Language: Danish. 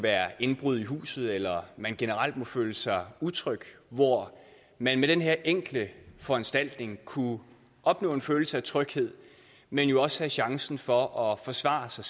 er indbrud i huset eller at man generelt måtte føle sig utryg hvor man med den her enkle foranstaltning kunne opnå en følelse af tryghed men jo også have chancen for at forsvare sig